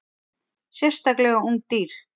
Sérstaklega ung dýr.